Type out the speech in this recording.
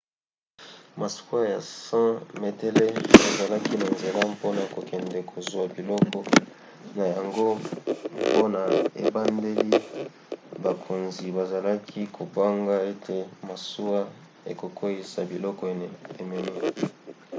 masuwa ya 100 metele ezalaki na nzela mpona kokende kozwa biloko na yango mpe na ebandeli bakonzi bazalaki kobanga ete masuwa ekokweyisa biloko ememi